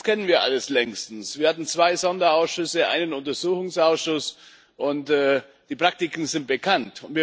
Das kennen wir alles längst. Wir hatten zwei Sonderausschüsse, einen Untersuchungsausschuss und die Praktiken sind bekannt.